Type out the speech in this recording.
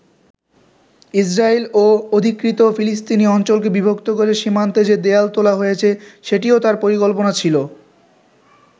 Israel ও অধিকৃত ফিলিস্তিনি অঞ্চলকে বিভক্ত করে সীমান্তে যে দেয়াল তোলা হয়েছে, সেটিও তার পরিকল্পনা ছিল।